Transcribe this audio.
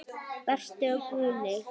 Berta og Guðni.